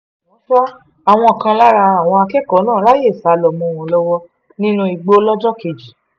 àmọ́ ṣá àwọn kan lára àwọn akẹ́kọ̀ọ́ náà ráàyè sá lọ mọ́ wọn lọ́wọ́ nínú igbó lọ́jọ́ kejì